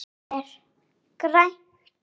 Það er grænt.